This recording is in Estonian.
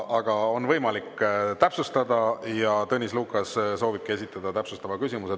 Aga on võimalik täpsustada ja Tõnis Lukas soovibki esitada täpsustava küsimuse.